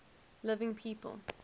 living people